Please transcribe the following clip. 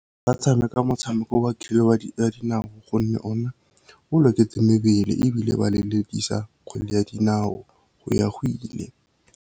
Ba tshameka motshameko wa kgwele ya dinao gonne ona o loketse mebele, ebile ba lelekisa kgwele ya dinao go ya go ile.